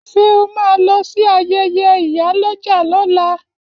Ṣé o máa lọ sí ayẹyẹ ìyálọ́jà lọ́la